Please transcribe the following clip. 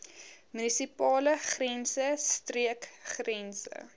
munisipale grense streekgrense